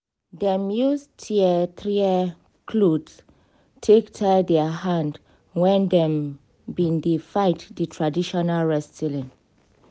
dem use tear trear clothe take tie their hand when dem been dey fight di traditional wrestling